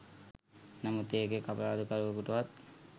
නමුත් ඒ එක් අපරාධකාරයකුටවත්